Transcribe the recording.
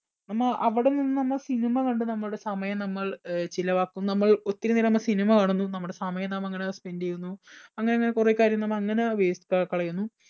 നമ്മ അവിടെ നിന്നും നമ്മൾ cinema കണ്ടു നമ്മുടെ സമയം നമ്മൾ അഹ് ചിലവാക്കുന്നു. നമ്മൾ ഒത്തിരി നേരം നമ്മൾ cinema കാണുന്നു. നമ്മുടെ സമയം നാം അങ്ങനെ spend ചെയ്യുന്നു. അങ്ങനെ അങ്ങനെ കുറെ കാര്യം നമ്മൾ അങ്ങനെ waste ക്കാ കളയുന്നു.